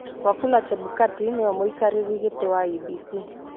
Wafula Chebukati nĩwe mũikarĩri gĩtĩ wa IEBC